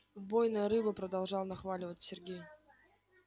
убойная рыба продолжал нахваливать сергей